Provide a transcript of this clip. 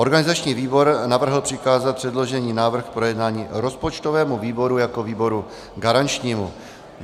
Organizační výbor navrhl přikázat předložený návrh k projednání rozpočtovému výboru jako výboru garančnímu.